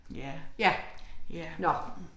Ja. Ja